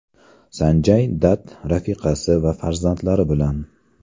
Sanjay Datt rafiqasi va farzandlari bilan.